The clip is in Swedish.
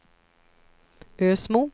Ösmo